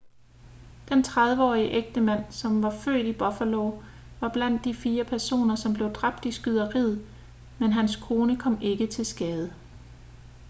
den 30-årige ægtemand som var født i buffalo var blandt de fire personer som blev dræbt i skyderiet men hans kone kom ikke til skade